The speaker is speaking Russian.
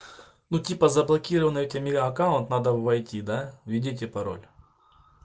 ну типа заблокированный у тебя ми аккаунт надо войти да введите пароль